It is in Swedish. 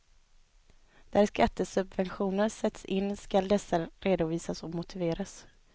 Där skattesubventioner sätts in skall dessa redovisas och motiveras.